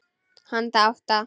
Handa átta